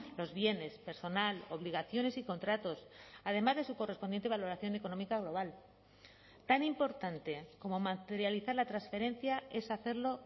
los bienes personal obligaciones y contratos además de su correspondiente valoración económica global tan importante como materializar la transferencia es hacerlo